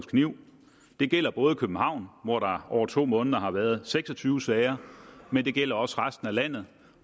kniv det gælder både københavn hvor der over to måneder har været seks og tyve sager men det gælder også resten af landet